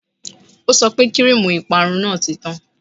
O sọ pé kíríìmù ìparun náà ti tán